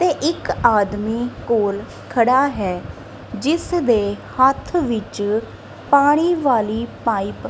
ਤੇ ਇੱਕ ਆਦਮੀ ਕੋਲ ਖੜਾ ਹੈ ਜਿਸ ਦੇ ਹੱਥ ਵਿੱਚ ਪਾਣੀ ਵਾਲੀ ਪਾਈਪ --